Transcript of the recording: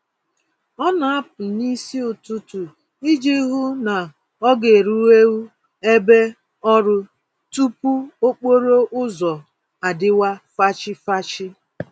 Ọ na-apụ n'isi ụtụtụ iji hụ na ọ garueu ebe ọrụ tupu okporo ụzọ adịwa fachi-fachi